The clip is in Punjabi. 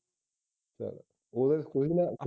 ਉਹਦੇ ਵਿੱਚ ਕੋਈ ਵੀ ਨਾ